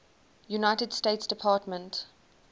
united states department